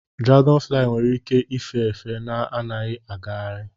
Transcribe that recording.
Dragonflies nwere ike ife efe na-agaghị agagharị.